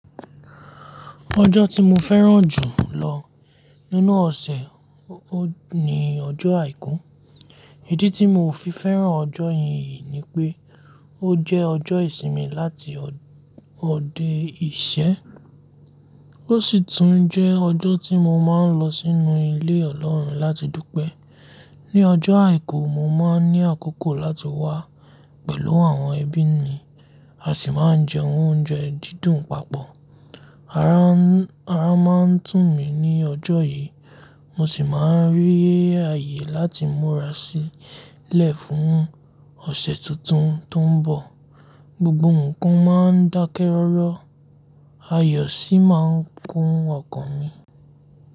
Ọjọ́ tí mo fẹ́ràn jù lọ nínú ọ̀sẹ̀ ni ọjọ́ àìkú. Ìdí tí mo fi fẹ́ràn ọjọ́ yìí ni pé ó jẹ́ ọjọ́ ìsinmi láti ọdẹ ìṣẹ́. Ó sì tún jẹ́ ọjọ́ tí mo máa ń lọ sínú ilé Ọlọ́run láti dúpẹ́. Ni ọjọ́ àìkú, mo máa ní àkókò láti wá pẹ̀lú àwọn ẹbí mi, a sì máa ń jẹ oúnjẹ dídùn papọ̀. Ara máa ń tù mí ní ọjọ́ yìí, mo sì máa ń rí ààyè láti múra sílẹ̀ fún ọ̀sẹ̀ tuntun tó ń bọ̀. Gbogbo nǹkan máa ń dákẹ́ rọ́rọ́, ayọ̀ sì máa ń kun ọkàn mi.